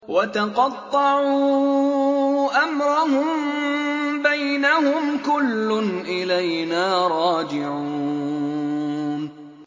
وَتَقَطَّعُوا أَمْرَهُم بَيْنَهُمْ ۖ كُلٌّ إِلَيْنَا رَاجِعُونَ